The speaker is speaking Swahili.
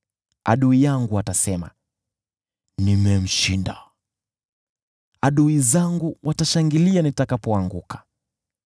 Adui yangu atasema, “Nimemshinda,” nao adui zangu watashangilia nitakapoanguka.